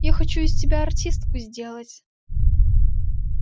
я хочу из тебя артистку сделать